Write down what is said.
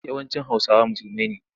Yawancin Hausawa musulmai ne.